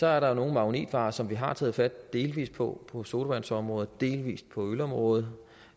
er der jo nogle magnetvarer som vi har taget fat på delvis på på sodavandområdet delvis på ølområdet